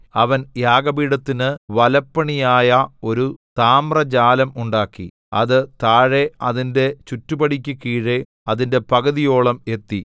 അവൻ യാഗപീഠത്തിന് വലപ്പണിയായ ഒരു താമ്രജാലം ഉണ്ടാക്കി അത് താഴെ അതിന്റെ ചുറ്റുപടിക്ക് കീഴെ അതിന്റെ പകുതിയോളം എത്തി